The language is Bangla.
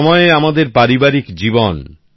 একসময় আমাদের পারিবারিক জীবন